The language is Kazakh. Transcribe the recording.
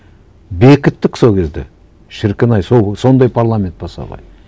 бекіттік сол кезде шіркін ай сондай парламент болса ғой